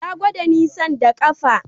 Ya gwada nisan da ƙafa